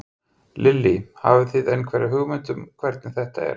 Lillý: Hafið þið einhverja hugmynd um hvernig þetta er?